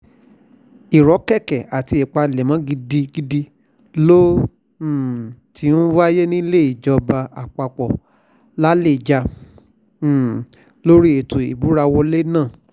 ìrọ́kẹ̀kẹ̀ àti ìpalẹ́mì gidigidi ló um ti ń wáyé nílé ìjọba àpapọ̀ làlejà um lórí ètò ìbúrawọlẹ̀ náà